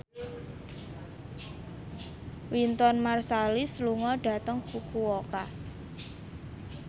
Wynton Marsalis lunga dhateng Fukuoka